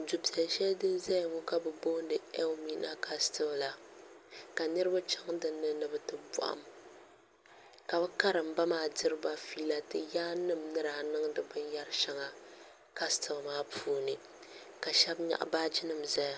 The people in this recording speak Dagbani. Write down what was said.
du' piɛlli shɛli din zaya ŋɔ ka bɛ booni Elimina kasitili la ka niriba chaŋ din ni ni bɛ ti bɔhim ka bɛ karimba maa diri ba fiila ti yaan nima ni daa niŋdi binyɛra shɛŋa kasitili maa puuni ka shɛba nyaɣi baaji nima n-zaya.